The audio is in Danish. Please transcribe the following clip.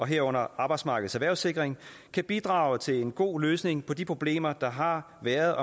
herunder arbejdsmarkedets erhvervssikring kan bidrage til en god løsning på de problemer der har været